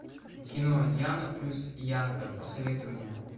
кино яна плюс янка посоветуй мне